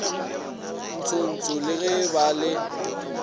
ntshotsho le go ba le